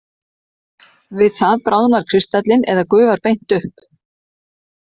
Við það bráðnar kristallinn eða gufar beint upp.